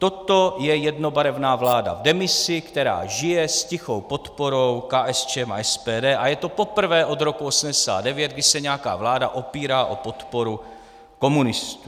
Toto je jednobarevná vláda v demisi, která žije s tichou podporou KSČM a SPD, a je to poprvé od roku 1989, kdy se nějaká vláda opírá o podporu komunistů.